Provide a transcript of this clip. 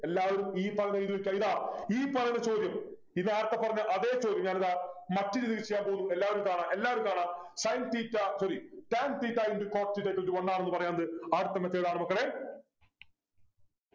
എല്ലാവരും ഈ പറഞ്ഞത് എഴുതി വെക്കുക ഇതാ ഈ പറയുന്ന ചോദ്യം ഇത് നേരത്തെ പറഞ്ഞ അതെ ചോദ്യം ഞാനിതാ മറ്റൊരു രീതിയിൽ ചെയ്യാൻ പോകുന്നു എല്ലാവരും കാണുക എല്ലാവരും കാണുക Sin theta sorry tan theta into cot theta equal to one ആണെന്ന് പറയാറുണ്ട് ആദ്യത്തെ method ആണ് മക്കളെ